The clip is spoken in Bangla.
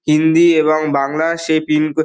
হিন্দি এবং বাংলা সে পিন ক--